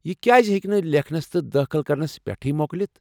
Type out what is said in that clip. یہِ کیازِہیكہِ نہٕ لیکھنس تہٕ دٲخل کرنس پٮ۪ٹھٕے مۄکلِتھ ؟